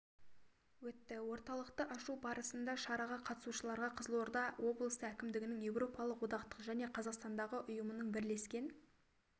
өтті орталықты ашу барысында шараға қатысушыларға қызылорда облысы әкімдігінің еуропалық одақтың және қазақстандағы ұйымының бірлескен